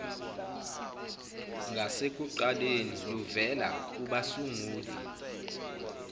ngasekuqaleni luvela kubasunguli